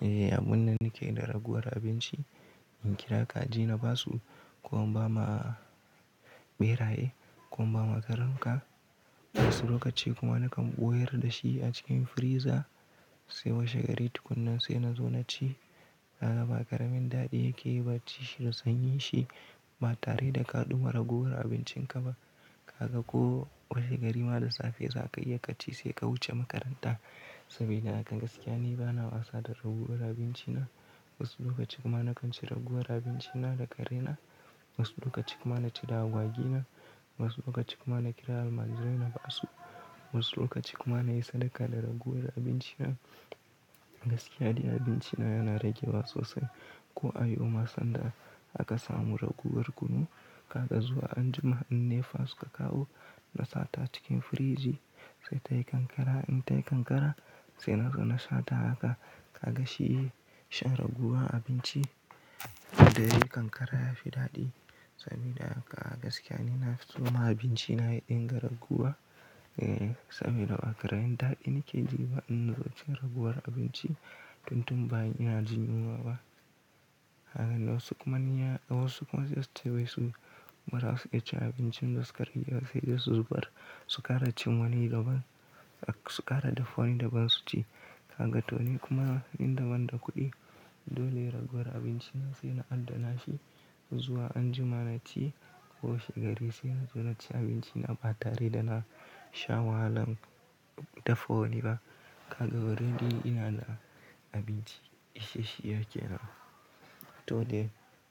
Eh, a bunda nike da raguwar abinci, in kira kajina basu ko an ba ma ɓeraye ko an ba ma talanka. Wasu lokaci kuma nakan ɓoyer da shi a cikin friza sai washe gari tukunnan sai na zo naci. Gaga ba ƙaramin daɗi yake yi ba ci shi da sanyi shi ba tare da kaɗuwar raguwar abincin ka ba. Kaga ko washe gari ma da safe za ka iya ka ci sai ka wuce makaranta. Saboda haka gaskiya ne bana wasa da raguwar abinci na. Wasu lokaci kuma na kanci raguwar abinci na da ƙare na. Wasu lokaci kuma na ci dawagi na. Wasu lokaci kuma na kira almajirai na basu. Wasu lokaci kuma na yi sadaka da raguwar abinci na. Gaskiya ne abinci na yana rage wa sosai. Ko a yoma sanda aka samu raguwar kunu, kaga zuwa anjima in nefa suka kawo na sata cikin friji sai tayi kankara. In tayi kankara sai na zo na sata haka kaga shi shan raguwa abinci. Da yayi kankara ya fi daɗi. Saboda haka gaskiya ne na fi soma abinci na inda raguwa. Eh, saboda a ƙarain dal ina keji ba in zo ci raguwar abinci tun tun ba ina jin yunwa ba. Haka ne wasu kuma ne ya, wasu kuma sai wasu marasu iya cin abincin da suka rage sai da su zubar. Su kara cin wani daban, su kara dafa wani daban su ci. Kaga to ni kuma in da ban da kuɗi dole raguwar abinci na sai na adana shi zuwa anjima na ci ko washe gari sai na zo naci abinci na ba tare da na sha wahalan dafa wani ba. Kaga wurin din ina da abinci ishe shi yake nan. To dai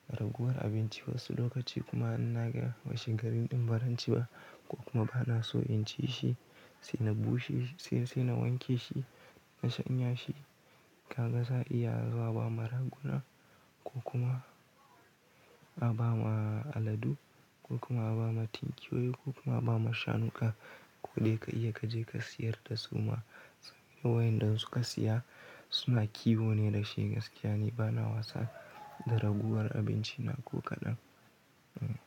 raguwar abinci wasu lokaci kuma in naga washe garin din ba zan ci ba ko kuma bana so in ci shi sai na bushe shi sai, sai na wanke shi na shanya shi. Kaga za a iya haza wa ba maraguna ko kuma a ba ma aladu ko kuma a ba ma tinkiyoyi ko kuma a ba ma shanuƙa. Ko dai ka iya ka je ka siyar da suma. Saboda wayanda suka siya suna kiwo ne da shi gaskiya ne bana wasa da raguwar abinci na ko kaɗan. Hmm.